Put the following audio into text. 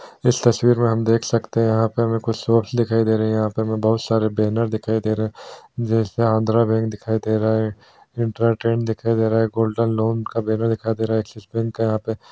इस तस्वीर में हम देख सकते है यहाँ पर हमें कुछ सोर्स दिखाई दे रहे हैं यहाँ पे हमें बहुत सारे बैनर दिखाई दे रहे है जैसे आंध्रा बैंक देखाई दे रहा है इंट्रा-ट्रेड दिखाई दे रहा है गोल्डन लोन का बैनर दिखाई दे रहा है एक्सिस बैंक का यहाँ पे --